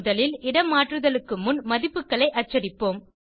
முதலில் இடமாற்றுதலுக்கு முன் மதிப்புகளை அச்சடிப்போம்